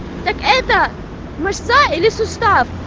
так это мышца или сустав